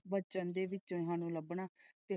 ਵਚਨ ਦੇ ਵਿੱਚ ਸਾਨੂ ਲੱਭਣਾ।